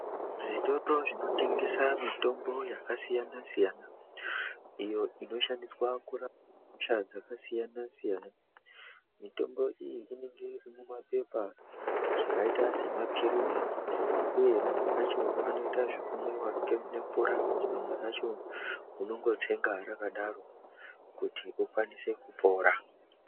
Zvitoro zvinotengesa mitombo yakasiyana siyana iyo inoshandiswa kurapa hosha dzakasiyana siyana. Mitombo iyi inenge iri mumapepa zvakaita semapilizi uye amweni acho anoita zvekumwiwa nemvura amweni acho unongotsenga rakadaro kuti ukwanise kupora.